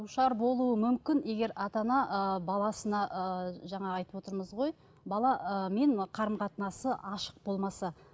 душар болуы мүмкін егер ата ана ы баласына ы жаңағы айтып отырмыз ғой қарым қатынасы ашық болмаса